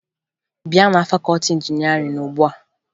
Bịa na fakọọti injinịarịn ugbua!